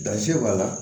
Dansigi b'a la